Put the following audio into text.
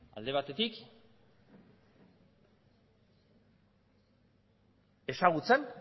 alde batetik ezagutzan